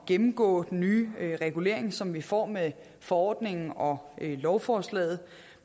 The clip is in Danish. gennemgå den nye regulering som vi får med forordningen og lovforslaget